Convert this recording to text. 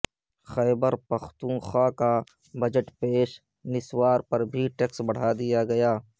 خیبرپختونخوا کا بجٹ پیش نسوار پر بھی ٹیکس بڑھا دیا گیا